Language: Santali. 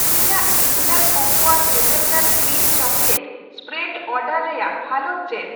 ᱤᱧᱟᱜ Jindal cocoa cocoa hazelnut cream chocolate spread order ᱨᱮᱭᱟᱜ ᱦᱟᱞᱚᱛ ᱪᱮᱫ ?